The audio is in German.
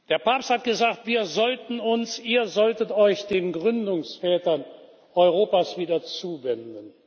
Der Papst hat gesagt, wir sollten uns Ihr solltet euch den Gründungsvätern Europas wieder zuwenden.